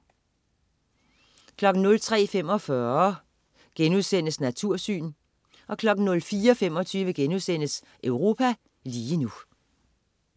03.45 Natursyn* 04.25 Europa lige nu*